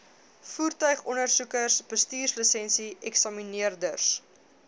voertuigondersoekers bestuurslisensie eksamineerders